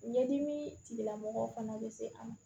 Ɲɛdimi tigilamɔgɔ fana bɛ se an ma